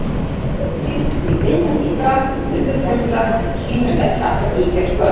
Mörkin milli munka- og nunnuklaustra sýnast ekki alltaf ýkja skörp.